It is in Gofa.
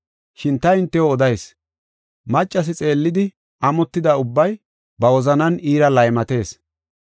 Shin ta hintew odayis, maccas xeellidi, amotida ubbay ba wozanan iira laymatees.